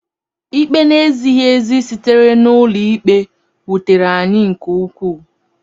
Ikpe na-ezighị ezi sitere n’ụlọikpe wutere anyị nke ukwuu.